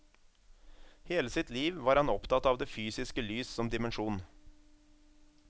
Hele sitt liv var han opptatt av det fysiske lys som dimensjon.